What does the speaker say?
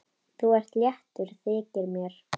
Þú ert léttur, þykir mér!